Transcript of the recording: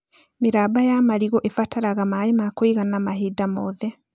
Mĩramba ya marigũ ĩbataraga maĩ ma kũigana mahinda mothe